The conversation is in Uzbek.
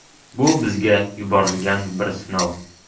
Bu bizga yuborilgan bir sinov.